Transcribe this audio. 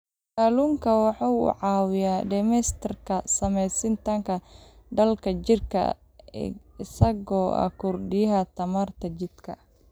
Kalluunku waxa uu caawiyaa dhimista saamaynta daalka jidhka isaga oo kordhiya tamarta jidhka.